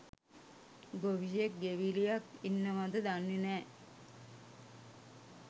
ගොවියෙක් ගෙවිලියක් ඉන්නවද දන්නේ නෑ.